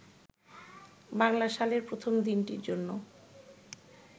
বাংলা সালের প্রথম দিনটির জন্য